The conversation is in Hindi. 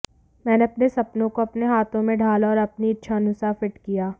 मैंने अपने सपनों को अपने हाथों में ढाला और अपनी इच्छानुसार फिट किया